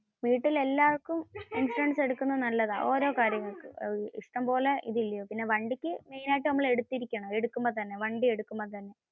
വീട്ടിൽ എല്ലാര്ക്കും ഇൻഷുറൻസ് എടുക്കുന്നത് നല്ലതാ, ഓരോ കാര്യങ്ങൾക്കും. ഇഷ്ടംപോലെ ഇതില്ലേ. പിന്നെ വണ്ടിക്കു main ആയിട്ടു നമ്മൾ എടുത്തിരികാംശം. വണ്ടി എടുക്കുമ്പോ തന്നെ.